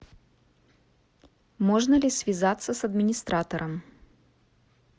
можно ли связаться с администратором